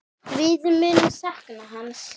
Við munum sakna hans.